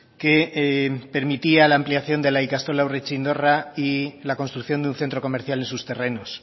que permitía la ampliación de la ikastola urretxindorra y la construcción de un centro comercial en sus terrenos